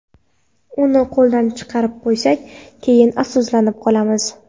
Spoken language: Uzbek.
Uni qo‘ldan chiqarib qo‘ysak, keyin afsuslanib qolamiz.